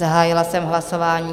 Zahájila jsem hlasování.